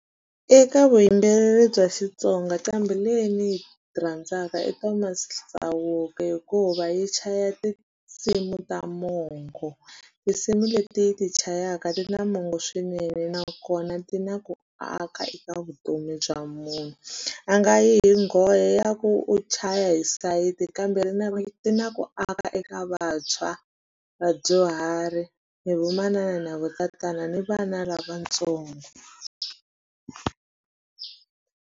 Eka vuyimbeleri bya Xitsonga nqambi leyi ni yi rhandzaka i Thomas Chauke hikuva yi chaya tinsimu ta mongo tinsimu leti yi ti chayaka ti na mongo swinene nakona ti na ku aka eka vutomi bya munhu a nga yi nghohe ya ku u chaya hi sayiti kambe ti na ku aka eka vantshwa vadyuhari na vamanana ni vatatana ni vana lavatsongo.